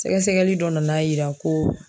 Sɛgɛsɛgɛli dɔ nan'a yira ko